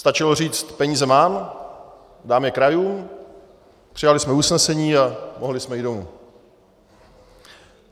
Stačilo říct peníze mám, dám je krajům, přijali jsme usnesení a mohli jsme jít domů.